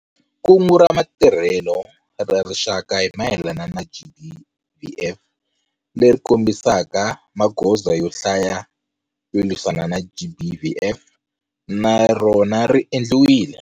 Kungu ra Matirhelo ra Rixaka hi mayelana na GBVF leri kombisaka magoza yo hlaya yo lwisana na GBVF, na rona ri endliwile.